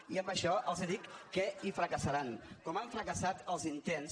i amb això els dic que hi fracassaran com han fracassat els intents